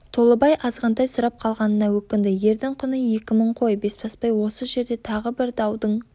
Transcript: толыбай азғантай сұрап қалғанына өкінді ердің құны екі мың қой бесбасбай осы жерде тағы бір даудың